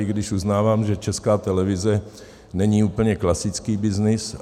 I když uznávám, že Česká televize není úplně klasický byznys.